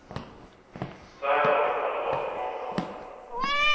Så här dåligt har det varit i många år.